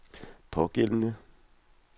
pågældende